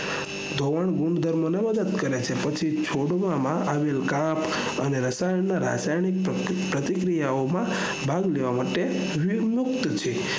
ધોવાણ ગૂણ ધર્મને મદદ કરે છે છોડ માં આવેલા carb ના રાસાયણિક પ્રક્રિયા માં ભાગ લેવા માટે વિમુક્ત છે